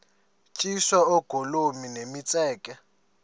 tyiswa oogolomi nemitseke